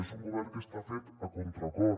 és un govern que està fet a contracor